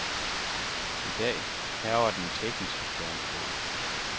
I dag hærger den tekniske stormflod.